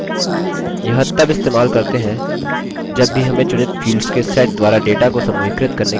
यह तब इस्तेमाल करते हैं जब भी हमें चुनित fields के set द्वारा data को समूहीकृत करने की आवश्यकता होती है